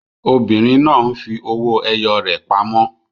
Obìnrin náà ń fi owó ẹyọ rẹ̀ pamọ́.